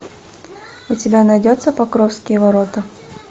у тебя найдется покровские ворота